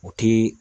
U ti